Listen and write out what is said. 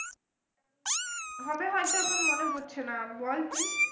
হবে হয়তো মনে পড়ছে না বল তুই